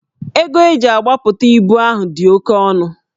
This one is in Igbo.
Ego e ji agbapụta ibu ahụ dị oke ọnụ